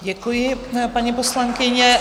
Děkuji, paní poslankyně.